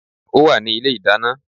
Ó wà ní ilé ìdáná